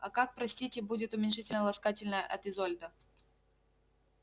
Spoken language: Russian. а как простите будет уменьшительно-ласкательное от изольда